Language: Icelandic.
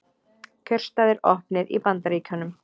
Kjörstaðir opnir í Bandaríkjunum